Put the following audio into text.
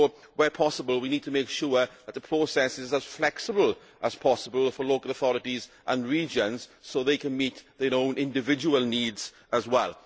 Where possible we need to make sure that the process is as flexible as possible for local authorities and regions so they can meet their own individual needs as well.